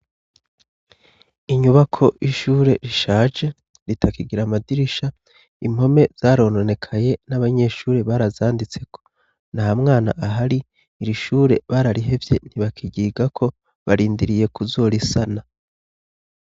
Inyubako y'ishure rishaje, ritakigira amadirisha, impome zarononekaye n'abanyeshuri barazanditseko, ntamwana ahari, iri shure bararihevye ntibakiryigako, barindiriye kuzorisana.